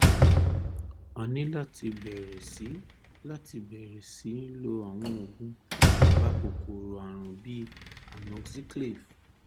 a ní láti bẹ̀rẹ̀ sí láti bẹ̀rẹ̀ sí lo àwọn oògùn apakòkòrò ààrùn bíi amoxiclav